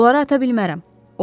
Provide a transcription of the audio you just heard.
Oları ata bilmərəm.